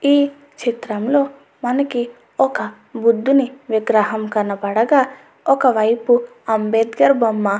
ఈ చిత్రంలో మనకి ఒక బుద్దిని విగ్రహం కనపడగా ఒక వైపు అంబెడ్కర్ బొమ్మ--